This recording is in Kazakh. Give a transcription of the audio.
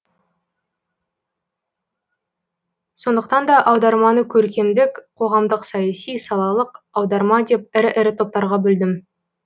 сондықтан да аударманы көркемдік қоғамдық саяси салалық аударма деп ірі ірі топтарға бөлдім